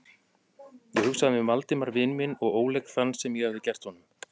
Ég hugsaði um Valdimar vin minn og óleik þann, sem ég hafði gert honum.